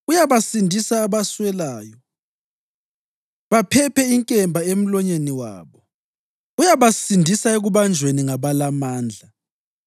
Uyabasindisa abaswelayo baphephe inkemba emlonyeni wabo; uyabasindisa ekubanjweni ngabalamandla.